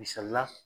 Misali la